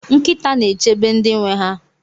Nkịta na-echebe ndị nwe ha.